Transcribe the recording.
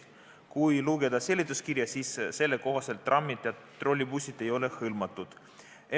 Aga kui lugeda seletuskirja, siis selle kohaselt trammid ja trollibussid hõlmatud ei ole.